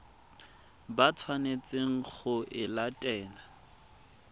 ba tshwanetseng go e latela